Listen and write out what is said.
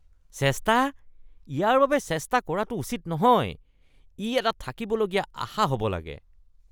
চেষ্টা? ইয়াৰ বাবে চেষ্টা কৰাটো উচিত নহয়; ই এটা থাকিবলগীয়া আশা হ’ব লাগে।